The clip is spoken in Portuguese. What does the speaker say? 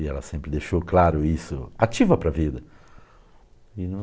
E ela sempre deixou claro isso, ativa para a vida.